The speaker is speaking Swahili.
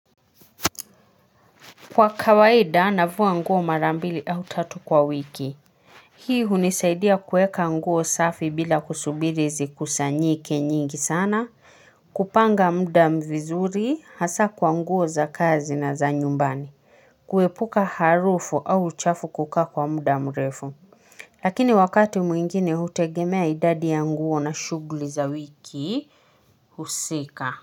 Kwa kawaida navaa nguo mara mbili au tatu kwa wiki. Hii unisaidia kuweka nguo safi bila kusubiri zikusanyike nyingi sana kupanga muda vizuri hasa kwa nguo za kazi na za nyumbani. Kuepuka harufu au chafu kukaa kwa muda mrefu. Lakini wakati mwingine hutegemea idadi ya nguo na shughuli za wiki husika.